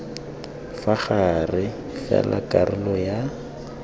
fa gare fela karolo ya